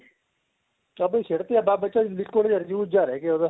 ਬੱਸ ਉਹ ਸਿੱਟ ਤੀ ਆਪਾਂ ਬੱਸ ਬਚਿਆ liquid juice ਜਾ ਰਹਿ ਗਿਆ ਉਹਦਾ